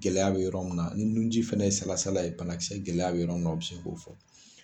Gɛlɛya bɛ yɔrɔ min na ni nunji fana ye salasala ye banakisɛ gɛlɛya bɛ yɔrɔ min o bɛ se k'o fɔ.